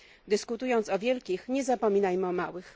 Dyskutując o wielkich, nie zapominajmy o małych.